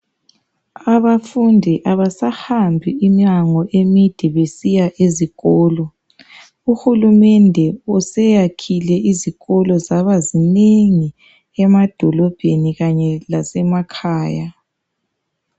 Abafundi abasahambi iminyango emide besiya ezikolo uhulumende useyakhile isikolo zaba zinengi emadolobheni kanye lasemakhaya